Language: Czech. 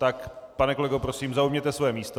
Tak pane kolego, prosím, zaujměte své místo.